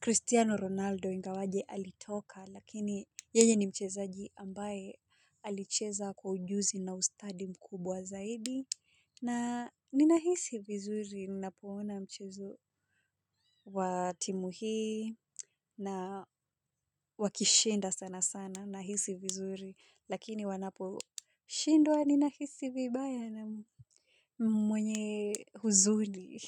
Cristiano Ronaldo ingawaje alitoka lakini yeye ni mchezaji ambaye alicheza kwa ujuzi na ustadi mkubwa zaidi. Na ninahisi vizuri ninapoona mchezo wa timu hii na wakishinda sana sana nahisi vizuri lakini wanaposhindwa ninahisi vibaya na mwenye huzuni.